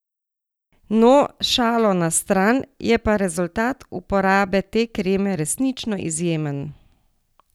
No, šalo na stran, je pa rezultat uporabe te kreme resnično izjemen!